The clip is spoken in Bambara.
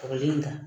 Kɔrɔlen in kan